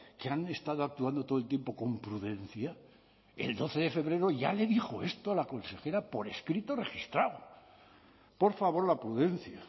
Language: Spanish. que han estado actuando todo el tiempo con prudencia el doce de febrero ya le dijo esto a la consejera por escrito registrado por favor la prudencia